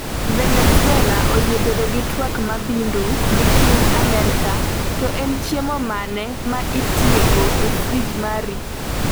Venezuela oyie bedo gi twak mabindu gi piny Amerka, to En chiemo mane ma iketo e frij mari?